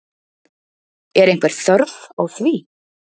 Er einhver þörf á því?